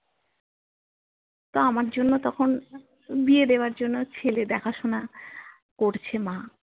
তো আমার জন্য তখন বিয়ে দেবার জন্য ছেলে দেখা শোনা করছে মা